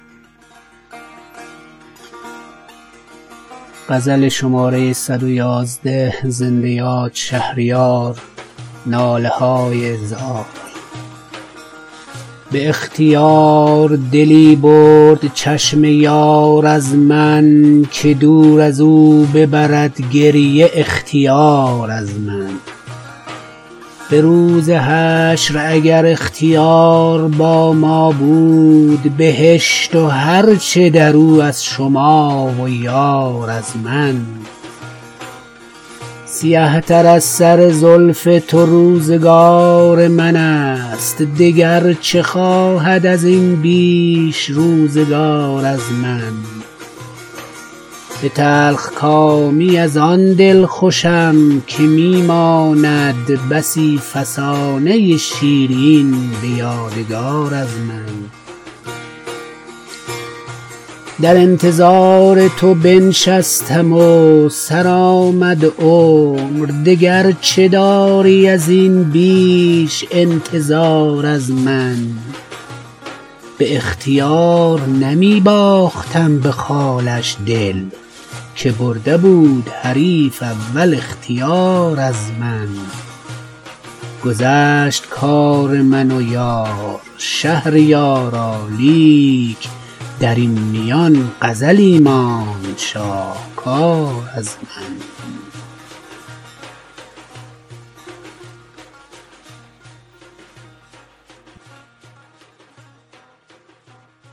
به اختیار دلی برد چشم یار از من که دور از او ببرد گریه اختیار از من به روز حشر اگر اختیار با ما بود بهشت و هر چه در او از شما و یار از من دگر قرار تو با ما چنین نبود ای دل که خنجری شوی و بگسلی قرار از من سیه تر از سر زلف تو روزگار من است دگر چه خواهد از این بیش روزگار از من به تلخکامی از آن دلخوشم که می ماند بسی فسانه شیرین به یادگار از من ترانه ها فکند جاودانه در آفاق چو بر فلک شود این ناله های زار از من دمد ز تربت من لاله ها چو یاد آرند پیاله نوش حریفان به نوبهار از من در انتظار تو بنشستم و سرآمد عمر دگر چه داری از این بیش انتظار از من شبی که از در مهتابی آمدی یاد آر چه مایه گوهر اشکی که شد نثار از من گواه عهد تو آن شب ستارگان بودند هنوز شاهدکانند شرمسار از من به اختیار نمی باختم به خالش دل که برده بود حریف اول اختیار از من گذشت کار من و یار شهریارا لیک در این میان غزلی ماند شاهکار از من